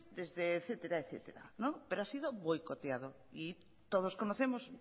desde etcétera pero ha sido boicoteado y todos conocemos